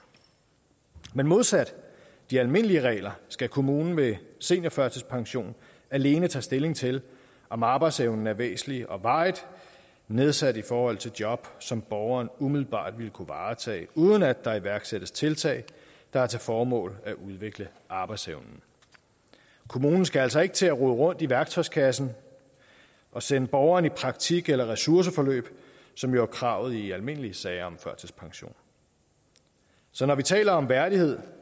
men modsat de almindelige regler skal kommunen ved seniorførtidspension alene tage stilling til om arbejdsevnen er væsentligt og varigt nedsat i forhold til job som borgeren umiddelbart vil kunne varetage uden at der iværksættes tiltag der har til formål at udvikle arbejdsevnen kommunen skal altså ikke til at rode rundt i værktøjskassen og sende borgeren i praktik eller ressourceforløb som jo er kravet i almindelige sager om førtidspension så når vi taler om værdighed